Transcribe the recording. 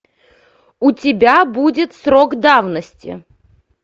у тебя будет срок давности